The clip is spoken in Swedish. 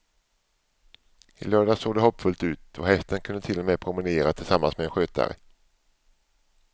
I lördags såg det hoppfullt ut och hästen kunde till och med promenera tillsammans med en skötare.